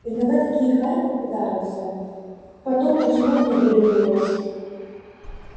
иногда такие хари попадаются потом заснуть неделю не можешь